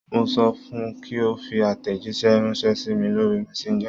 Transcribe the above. Mo sọ fun kí ó fi àtẹ̀jíṣẹ́ ránṣẹ́ sí mi lórí Messenger.